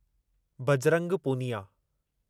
Bajrang Poonia